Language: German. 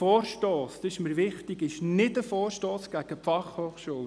Es handelt sich nicht um einen Vorstoss gegen die BFH.